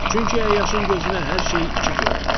Çünki əyyaşın gözünə hər şey iki görünür.